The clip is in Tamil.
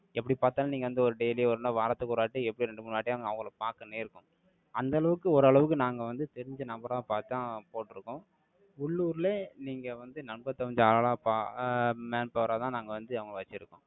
எப்படி பார்த்தாலும், நீங்க வந்து, ஒரு daily ஒரு நாள், வாரத்துக்கு ஒரு வாட்டி, எப்படியும் ரெண்டு, மூணு வாட்டி, அவங்களை பார்க்க நேர்க்கும். அந்த அளவுக்கு, ஓரளவுக்கு, நாங்க வந்து, தெரிஞ்ச நபரா பார்த்துதான், போட்டிருக்கோம். உள்ளூரிலே, நீங்க வந்து நம்ப தகுந்த ஆளா பா~ ஆஹ் manpower ஆ தான், நாங்க வந்து அவங்கள வச்சிருக்கோம்